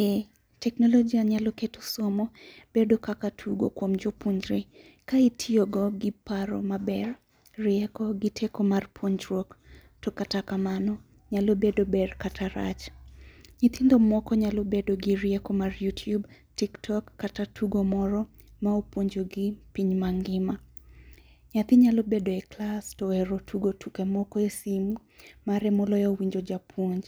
Ee teknolojia nyalo keto somo bedo kaka tugo kuom jopuonjre. Ka itiyogo gi paro maber, rieko gi teko mar puonjruok to kata kamano nyalo bedo ber kata rach. Nyithindo moko nyalo bedo gi rieko mar YouTube, tik tok kata tugo moro ma opuonjogi piny mangima. Nyathi nyalo bedo e klas to ohero tugo tuke moko e simu mare moloyo winjo japuonj.